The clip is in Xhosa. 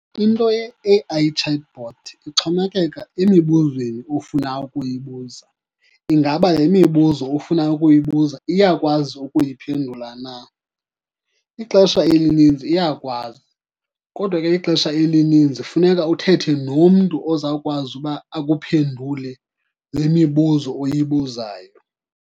Into ye-A_I chatbot ixhomekeka emibuzweni ofuna ukuyibuza. Ingaba le mibuzo ufuna ukuyibuza iyakwazi ukuyiphendula na? Ixesha elininzi iyakwazi, kodwa ke ixesha elininzi funeka uthethe nomntu ozawukwazi uba akuphendule le mibuzo oyibuzayo.